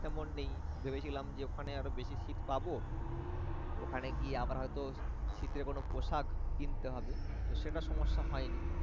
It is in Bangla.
তেমন নেই ভেবেছিলাম যে ওখানে আর বেশি শীত পাবো ওখানে গিয়ে আবার হয়ত শীত এর কোন পোশাক কিনতে হবে তো সেটা সমস্যা হয়নি